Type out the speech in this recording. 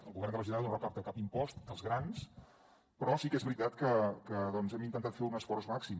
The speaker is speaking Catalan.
el govern de la generalitat no recapta cap impost dels grans però sí que és veritat que hem intentat fer un esforç màxim